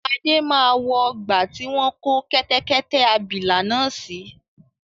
Adé máa wọ ọgbà tí wọn kò kẹ́tẹ́kẹ́tẹ́ abìlà náà si